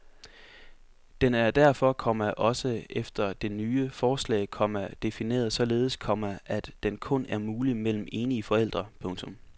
Den er derfor, komma også efter det nye forslag, komma defineret således, komma at den kun er mulig mellem enige forældre. punktum